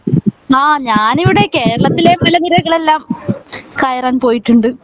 ആഹ് ഞാൻ ഇവിട ഏകേരളത്തിലെ മലനിരകൾ എല്ലാം കയറാൻ പോയിട്ടുണ്ട്